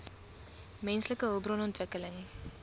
menslike hulpbron ontwikkeling